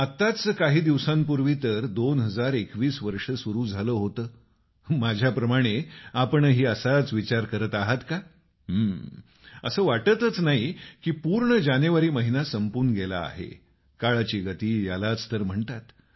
आताच काही दिवसांपूर्वी तर 2021 वर्ष सुरू झालं होतं माझ्याप्रमाणे आपणही असाच विचार करत आहात का असं वाटतच नाही की पूर्ण जानेवारी महिना संपून गेला आहे काळाची गति यालाच तर म्हणतात